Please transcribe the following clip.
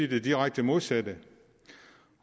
det direkte modsatte